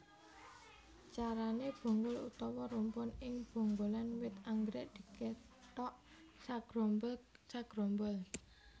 Carané bonggol utawa rumpun ing bonggolan wit anggrèk dikethok sagrombol sagrombol